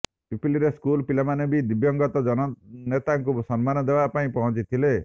ପିପିଲିରେ ସ୍କୁଲ ପିଲାମାନେ ବି ଦିବଂଗତ ଜନନେତାଙ୍କୁ ସମ୍ମାନ ଦେବା ପାଇଁ ପହଁଞ୍ଚିଥିଲେ